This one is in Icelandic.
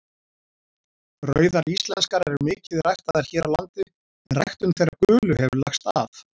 Rauðar íslenskar eru mikið ræktaðar hér á landi en ræktun þeirra gulu hefur lagst af.